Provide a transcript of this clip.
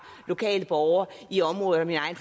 lokale borgere i området og min egen